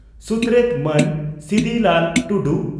ᱥᱩᱛᱨᱮᱛ ᱢᱟᱱ ᱥᱤᱫᱤᱞᱟᱞ ᱴᱩᱰᱩ